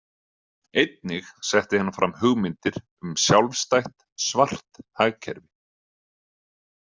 Einnig setti hann fram hugmyndir um sjálfstætt „svart“ hagkerfi.